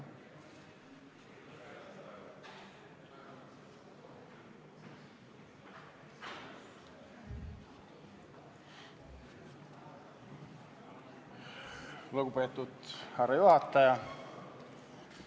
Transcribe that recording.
Lugupeetud härra juhataja!